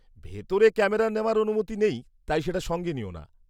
ভিতরে ক্যামেরা নেওয়ার অনুমতি নেই, তাই সেটা সঙ্গে নিও না।